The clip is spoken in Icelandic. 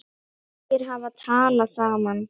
Þeir hafa talað saman.